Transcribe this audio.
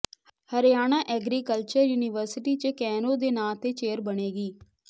Haryana agriculture university ਚ ਕੈਰੋਂ ਦੇ ਨਾਂਅ ਤੇ ਚੇਅਰ ਬਣੇਗੀ